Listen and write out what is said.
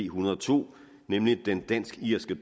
hundrede og to nemlig den danske irske